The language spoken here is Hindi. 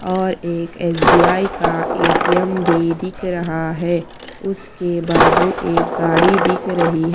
और एक एस_बी_आई का ए_टी_एम भी दिख रहा है उसके बाजू एक गाड़ी दिख रही है।